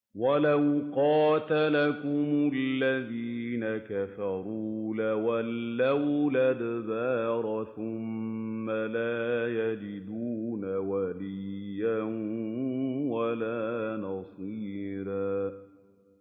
وَلَوْ قَاتَلَكُمُ الَّذِينَ كَفَرُوا لَوَلَّوُا الْأَدْبَارَ ثُمَّ لَا يَجِدُونَ وَلِيًّا وَلَا نَصِيرًا